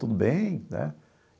Tudo bem, né?